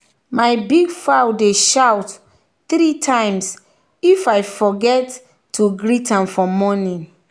my big fowl dey shout three times if i forget to greet am for morning.